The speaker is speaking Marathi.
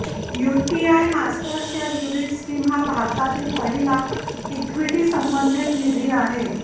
यूटीआय मास्टरशेअर युनिट स्कीम हा भारतातील पहिला इक्विटीसंबंधित निधी आहे